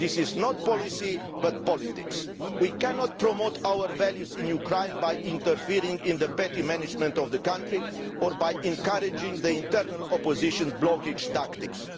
This is not policy, but politics. We cannot promote our values in Ukraine by interfering in the petty management of the country or by encouraging the internal opposition's blockage tactics.